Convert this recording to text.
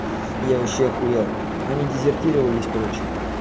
я вообще ахуел они дезертировали короче